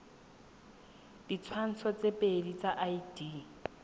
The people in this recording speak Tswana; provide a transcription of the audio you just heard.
ditshwantsho tse pedi tsa id